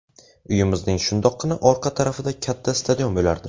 Uyimizning shundoqqina orqa tarafida katta stadion bo‘lardi.